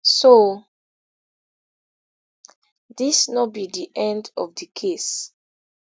so dis no be di end of di case